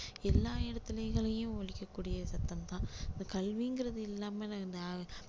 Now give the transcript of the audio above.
எல்லாம் இடத்துகளிலேயும் ஒலிக்க கூடிய சத்தம் தான் இந்த கல்விங்கிறது இல்லாம நா~